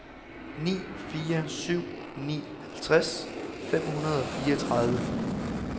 ni fire syv ni halvtreds fem hundrede og fireogtredive